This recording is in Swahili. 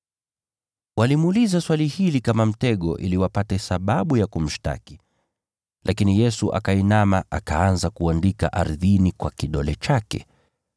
Walimuuliza swali hili kama mtego ili wapate sababu ya kumshtaki. Lakini Yesu akainama akaanza kuandika ardhini kwa kidole chake.